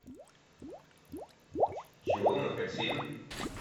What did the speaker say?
чего мы хотим